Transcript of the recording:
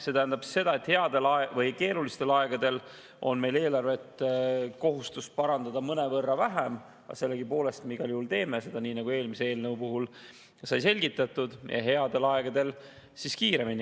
See tähendab seda, et keerulistel aegadel on meil kohustus eelarvet parandada mõnevõrra vähem, aga sellegipoolest me igal juhul teeme seda, nii nagu eelmise eelnõu puhul sai selgitatud, ja headel aegadel parandame kiiremini.